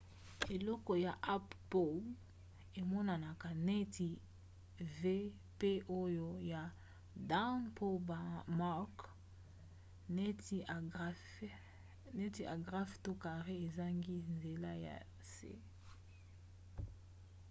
eloko ya up bow emonanaka neti v pe oyo ya down bow mark neti agrafe to carré ezangi nzela ya se